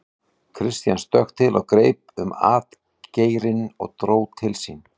Christian stökk til og greip um atgeirinn og dró til sín.